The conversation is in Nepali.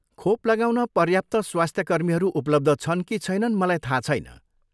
खोप लगाउन पर्याप्त स्वास्थ्यकर्मीहरू उपलब्ध छन् कि छैनन् मलाई थाहा छैन।